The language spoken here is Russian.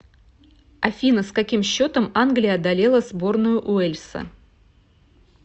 афина с каким счетом англия одолела сборную уэльса